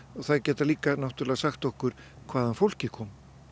það gæti líka sagt okkur hvaðan fólkið kom